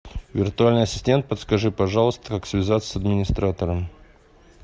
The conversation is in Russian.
виртуальный ассистент подскажи пожалуйста как связаться с администратором